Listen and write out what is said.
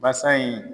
Basa in